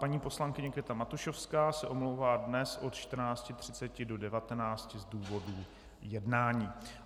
Paní poslankyně Květa Matušovská se omlouvá dnes od 14.30 do 19 z důvodu jednání.